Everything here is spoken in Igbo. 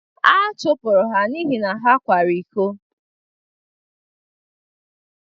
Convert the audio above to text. Achụpụrụ ha n’ihi na ha kwara iko.